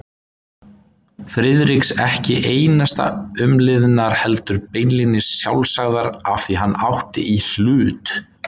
Friðriks ekki einasta umliðnar heldur beinlínis sjálfsagðar afþví hann átti í hlut.